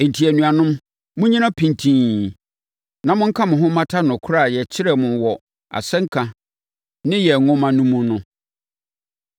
Enti, anuanom, monnyina pintinn na monka mo ho mmata nokorɛ a yɛkyerɛɛ mo wɔ asɛnka ne yɛn nwoma no mu no.